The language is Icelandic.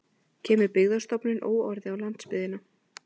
Kemur Byggðastofnun óorði á landsbyggðina